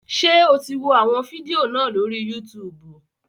Ṣé o ti wọ àwọn fídíò náà lórí Yútùùbù?